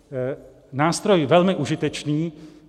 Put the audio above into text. Nástroj velmi užitečný.